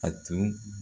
A tun